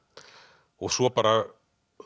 og svo bara